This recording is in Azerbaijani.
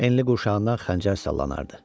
Enli qurşağından xəncər sallanardı.